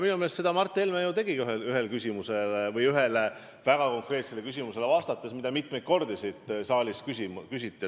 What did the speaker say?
Minu meelest seda Mart Helme ju ka tegi, vastates ühele väga konkreetsele küsimusele, mida mitu korda siit saalist küsiti.